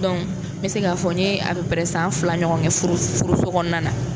n bɛ se k'a fɔ n ye san fila ɲɔgɔn kɛ furuso kɔnɔna na.